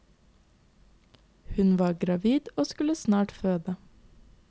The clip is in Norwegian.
Hun var gravid og skulle snart føde.